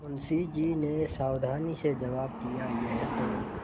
मुंशी जी ने सावधानी से जवाब दियायह तो